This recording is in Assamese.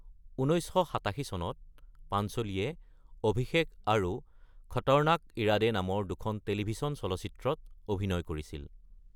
১৯৮৭ চনত, পাঞ্চোলীয়ে অভিষেক আৰু খটাৰনাক ইৰাদে নামৰ দুখন টেলিভিছন চলচিত্ৰত অভিনয় কৰিছিল।